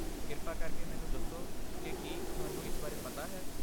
ਕਿਰਪਾ ਕਰਕੇ ਮੈਨੂੰ ਦੱਸੋ ਕਿ ਕੀ ਤੁਹਾਨੂੰ ਇਸ ਬਾਰੇ ਪਤਾ ਹੈ?